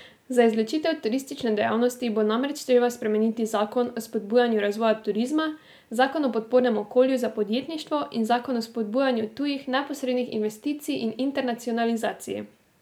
Za izločitev turistične dejavnosti bo namreč treba spremeniti zakon o spodbujanju razvoja turizma, zakon o podpornem okolju za podjetništvo in zakon o spodbujanju tujih neposrednih investicij in internacionalizaciji.